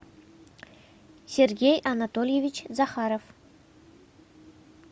сергей анатольевич захаров